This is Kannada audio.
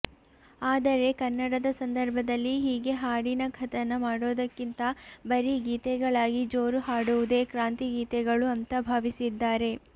ಆದರೆ ಕನ್ನಡದ ಸಂದರ್ಭದಲ್ಲಿ ಹೀಗೆ ಹಾಡಿನ ಕಥನ ಮಾಡೋದಕ್ಕಿಂತ ಬರೀ ಗೀತೆಗಳಾಗಿ ಜೋರು ಹಾಡುವುದೇ ಕ್ರಾಂತಿ ಗೀತೆಗಳು ಅಂತ ಭಾವಿಸಿದ್ದಾರೆ